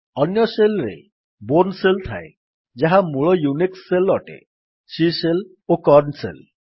ଅନ୍ୟ ଶେଲ୍ ରେ Bourne shell ଥାଏ ଯାହା ମୂଳ ୟୁନିକ୍ସ୍ ଶେଲ୍ ଅଟେ ସି ଶେଲ୍ ଓ କର୍ନ ଶେଲ୍